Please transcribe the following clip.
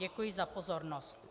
Děkuji za pozornost.